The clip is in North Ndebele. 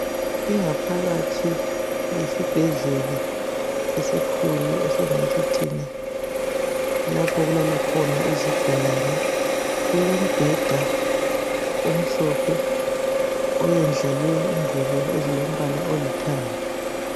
Ingaphakathi yesibhedlela esikhulu esingathi thina kulapho okulala khona izigulane, kulombheda omhlophe oyendlalwe ingubo ezilombala olithanga.